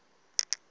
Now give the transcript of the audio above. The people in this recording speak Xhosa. undlambe